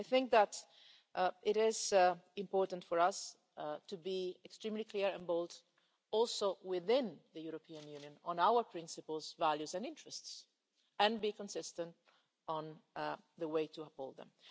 I think that it is important for us to be extremely clear and bold within the European Union too about our principles, values and interests, and be consistent on the way to uphold them.